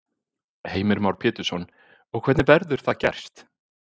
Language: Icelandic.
Heimir Már Pétursson: Og hvernig verður það gerst?